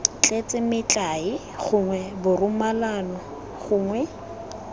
tletse metlae gongwe borumolano gongwe